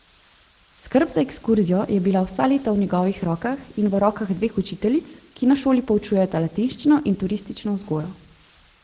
Skrb za ekskurzijo je bila vsa leta v njegovih rokah in v rokah dveh učiteljic, ki na šoli poučujeta latinščino in turistično vzgojo.